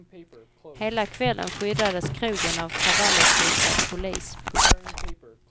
Hela kvällen skyddades krogen av kravallutrustad polis. punkt